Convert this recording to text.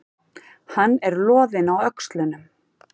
Hann er loðinn á öxlunum.